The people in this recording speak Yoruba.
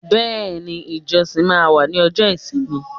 Bẹ́ẹ̀ni, ijosin ma wa ni ọjọ́ isimi